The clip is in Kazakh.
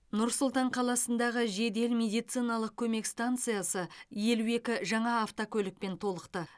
нұр сұлтан қаласындағы жедел медициналық көмек стансасы елу екі жаңа автокөлікпен толықты